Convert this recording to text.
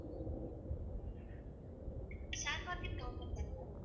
share market government ma'am